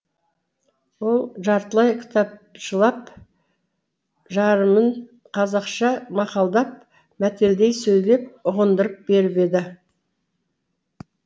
ол жартылай кітапшылап жарымын қазақша мақалдап мәтелдей сөйлеп ұғындырып беріп еді